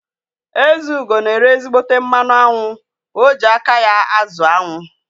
Ezeugo na ere ezígbóté mmanụ aṅụ, o ji aka ya azụ aṅụ